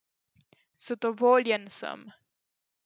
Zadovoljen sem.